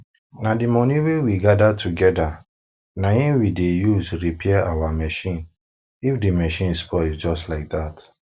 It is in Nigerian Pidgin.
na di money wey we gather togeda na in we dey use repair our machine if di machine spoil just like dat